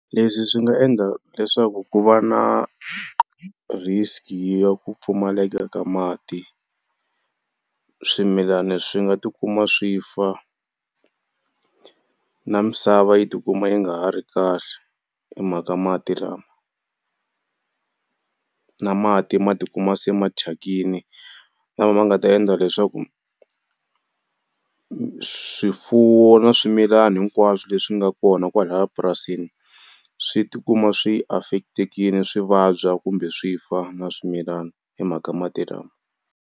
Leswi swi nga endla leswaku ku va na risk ya ku pfumaleka ka mati swimilana swi nga ti kuma swi fa na misava yi ti kuma yi nga ha ri kahle hi mhaka mati lama, na mati ma ti kuma se ma thyakini lama ma nga ta endla leswaku swifuwo na swimilana hinkwaswo leswi nga kona kwalaya epurasini swi tikuma swi affect-ekile swi vabya kumbe swi fa na swimilana hi mhaka mati lama.